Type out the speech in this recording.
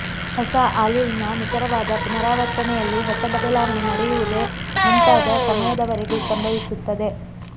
ಹೊಸ ಆಲೀಲ್ನ ನಿಖರವಾದ ಪುನರಾವರ್ತನೆಯಲ್ಲಿ ಹೊಸ ಬದಲಾವಣೆ ನಡೆಯುವುದೇ ಮುಂತಾದ ಸಮಯದವರೆಗೂ ಸಂಭವಿಸುತ್ತದೆ